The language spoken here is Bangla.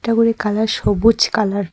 এটা করে কালার সবুজ কালার ।